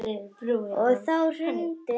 Og þá hrundi hann bara.